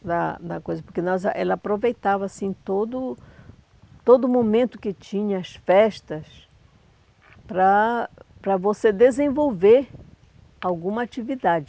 na na coisa, porque nossa, ela aproveitava assim todo todo momento que tinha, as festas, para para você desenvolver alguma atividade.